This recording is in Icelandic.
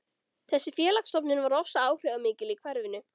Þessi félagsstofnun var ofsa áhrifamikil í hverfinu.